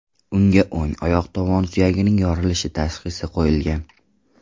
Unga o‘ng oyoq tovon suyagining yorilishi tashxisi qo‘yilgan.